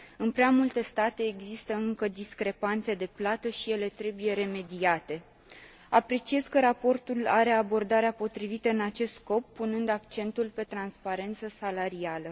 În prea multe state există încă discrepanțe de remunerație și ele trebuie remediate. Apreciez că raportul adoptă abordarea potrivită în acest scop, punând accentul pe transparență salarială.